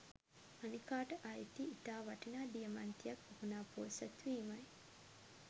අනිකාට අයිති ඉතා වටිනා දියමන්තියක් විකුනා පෝසත් වීමයි